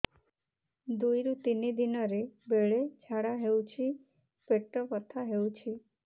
ଦୁଇରୁ ତିନି ଦିନରେ ବେଳେ ଝାଡ଼ା ହେଉଛି ପେଟ ବଥା ହେଉଛି